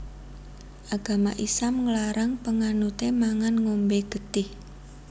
Agama Islam nglarang panganuté mangan ngombé getih